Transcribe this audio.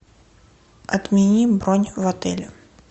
отмени бронь в отеле